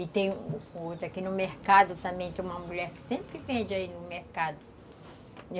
E tem outro aqui no mercado também, tem uma mulher que sempre vende aí no mercado.